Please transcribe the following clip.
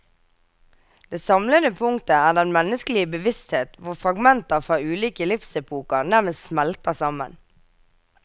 Det samlende punktet er den menneskelige bevissthet hvor fragmenter fra ulike livsepoker nærmest smelter sammen.